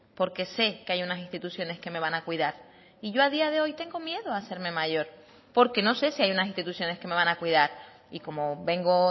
porque sé que hay unas instituciones que me van a cuidar y yo a día de hoy tengo miedo a hacerme mayor porque no sé si hay unas instituciones que me van a cuidar y como vengo